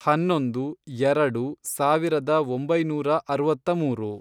ಹನ್ನೊಂದು, ಎರೆಡು, ಸಾವಿರದ ಒಂಬೈನೂರ ಅರವತ್ಮೂರು